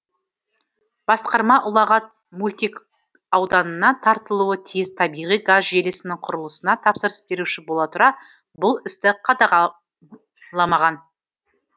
басқарма ұлағат мөлтекауданына тартылуы тиіс табиғи газ желісінің құрылысына тапсырыс беруші бола тұра бұл істі қадағаламаған